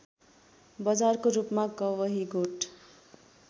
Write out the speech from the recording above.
बजारको रूपमा कवहीगोठ